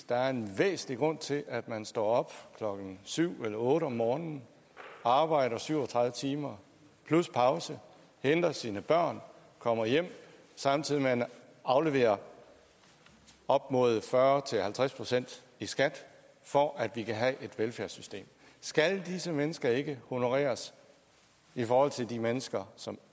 der er en væsentlig grund til at man står op klokken syv eller otte om morgenen arbejder syv og tredive timer plus pause henter sine børn kommer hjem samtidig med at man afleverer op mod fyrre til halvtreds procent i skat for at vi kan have et velfærdssystem skal disse mennesker ikke honoreres i forhold til de mennesker som